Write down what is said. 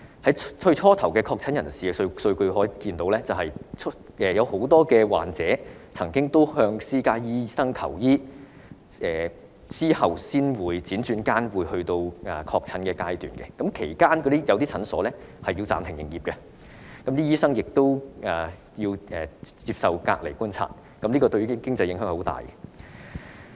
由最初確診人士的數據可見，很多患者曾經向私家醫生求醫，由於這些人之後才確診，接觸過這些人的診所需要暫停營業，醫生亦要接受隔離觀察，對其經濟影響很大。